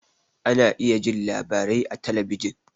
Ana iya jin labarai a talabijin